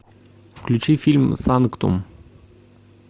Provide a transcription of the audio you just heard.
включи фильм санктум